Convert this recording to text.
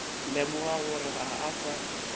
lemoga gore ga a sa